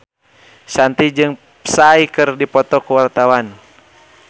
Shanti jeung Psy keur dipoto ku wartawan